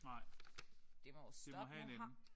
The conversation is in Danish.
Nej. Det må have en ende